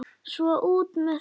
Svona, út með þig!